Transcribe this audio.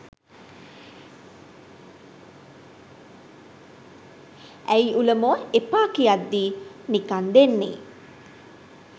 ඇයි උලමෝ එපා කියද්දී නිකං දෙන්නේ